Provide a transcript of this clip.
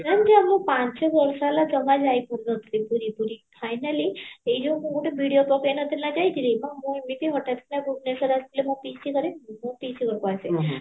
ଏମତି ହେଲା ପାଞ୍ଚ ବର୍ଷ ହେଲା ଜମା ଯାଇପାରୁନହଥିଲି ପୁରୀ ପୁରୀ finally ସେଇ ଯୋଉ ମୁଁ ଗୋଟେ video ପକେଇନଥିଲି ନାଁ ସେଇଥିରେ ମ ମୁଁ ଏମିତି ହଟାତ କିନା ଭୁବନେଶ୍ଵର ଆସିଥିଲି ମୋ ପିସୀ ଘରେ ମୁଁ ମୋ ପିସୀ ଘରକୁ ଆସେ